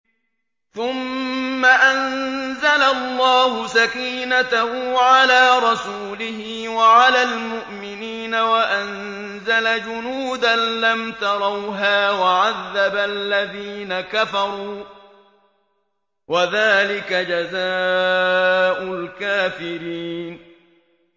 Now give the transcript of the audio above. ثُمَّ أَنزَلَ اللَّهُ سَكِينَتَهُ عَلَىٰ رَسُولِهِ وَعَلَى الْمُؤْمِنِينَ وَأَنزَلَ جُنُودًا لَّمْ تَرَوْهَا وَعَذَّبَ الَّذِينَ كَفَرُوا ۚ وَذَٰلِكَ جَزَاءُ الْكَافِرِينَ